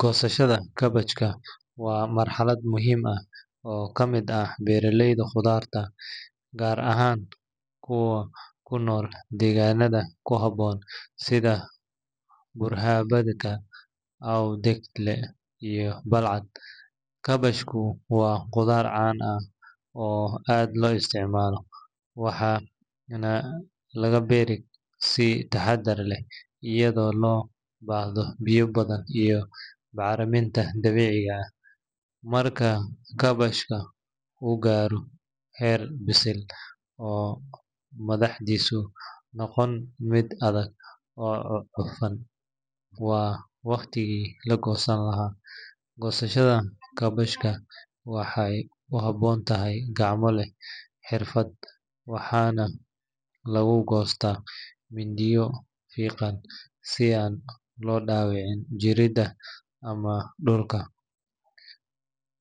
Goosashada kaabashka waa marxalad muhiim ah oo ka mid ah beeralayda khudaarta, gaar ahaan kuwa ku nool deegaanada ku habboon sida Buurhakaba, Awdheegle, iyo Balcad. Kaabashku waa khudaar caan ah oo aad loo isticmaalo, waxaana laga beeraa si taxaddar leh iyadoo loo baahdo biyo badan iyo bacriminta dabiiciga ah. Marka kaabashka uu gaaro heer bisil, oo madaxdiisu noqoto mid adag oo cufan, waa waqtigii la goosan lahaa. Goosashada kaabashka waxay u baahan tahay gacmo leh xirfad, waxaana lagu goostaa mindiyo fiiqan si aan loo dhaawicin jirridda ama dhulka.